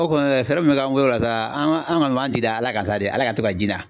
O kɔni fɛɛrɛ min bɛ kɛ an bolo sa, an ka an kɔni b'an jigi da ala kan sa de, ala ka to ka ji na